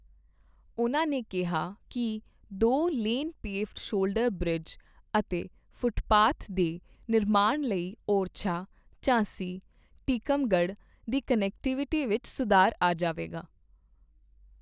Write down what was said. ਉਨ੍ਹਾਂ ਨੇ ਕਿਹਾ ਕਿ ਦੋ ਲੇਨ ਪੇਵਡ ਸ਼ੋਲਡਰ ਬ੍ਰਿਜ ਅਤੇ ਫੁਟਪਾਥ ਦੇ ਨਿਰਮਾਣ ਲਈ ਓਰਛਾ, ਝਾਂਸੀ, ਟੀਕਮਗੜ੍ਹ ਦੀ ਕਨੈਕਟੀਵਿਟੀ ਵਿੱਚ ਸੁਧਾਰ ਆ ਜਾਵੇਗਾ।